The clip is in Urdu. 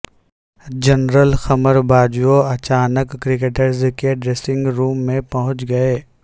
جنرل قمر باجوہ اچانک کرکٹرز کے ڈریسنگ روم میں پہنچ گئے